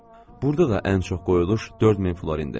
Burda da ən çox qoyuluş 4 min florindir.